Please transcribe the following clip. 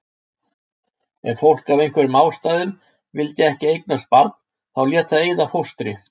Ef fólk af einhverjum ástæðum vildi ekki eignast barn þá lét það eyða fóstri.